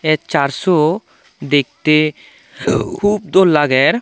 a Church u dekte hub dol lager.